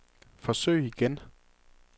forsøg igen